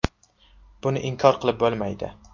Buni inkor qilib bo‘lmaydi”.